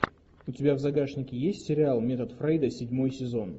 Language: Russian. у тебя в загашнике есть сериал метод фрейда седьмой сезон